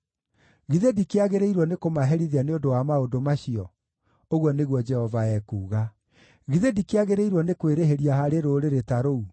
Githĩ ndikĩagĩrĩirwo nĩkũmaherithia nĩ ũndũ wa maũndũ macio?” ũguo nĩguo Jehova ekuuga. “Githĩ ndikĩagĩrĩirwo nĩ kwĩrĩhĩria harĩ rũrĩrĩ ta rũu?